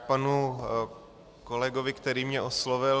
K panu kolegovi, který mě oslovil.